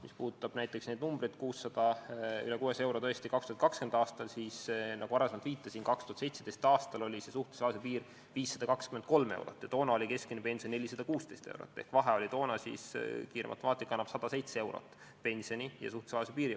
Mis puudutab näiteks neid numbreid – üle 600 euro 2020. aastal –, siis nagu ma varem viitasin, 2017. aastal oli suhtelise vaesuse piir 523 eurot ja toona oli keskmine pension 416 eurot ehk vahe oli toona – kiire matemaatika annab selle tulemuse – 107 eurot.